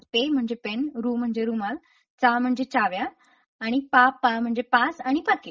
पे म्हणजे पेन रु म्हणजे रुमाल चा म्हणजे चाव्या आणि पापा म्हणजे पास आणि पाकीट.